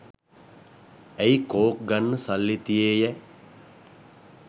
ඇයි කෝක් ගන්න සල්ලි තියේයැ?